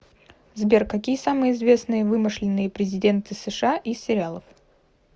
сбер какие самые известные вымышленные президенты сша из сериалов